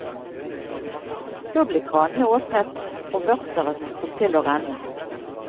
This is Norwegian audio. Så ble kranene åpnet, og vørteret tok til å renne.